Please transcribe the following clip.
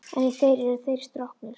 En í þér eru þeir stroknir.